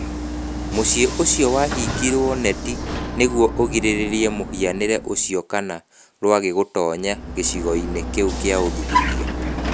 Mũciĩ ũcio wahingĩirio neti nĩguo ũgirĩrĩrie mũhianĩre ũcio kana rwagĩ gũtoonya gĩcigo-inĩ kĩu gĩa ũthuthuria.